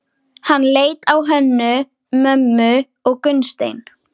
Hann leit á Hönnu-Mömmu og Gunnstein.